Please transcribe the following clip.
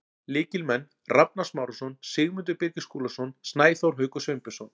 Lykilmenn: Rafnar Smárason, Sigmundur Birgir Skúlason, Snæþór Haukur Sveinbjörnsson.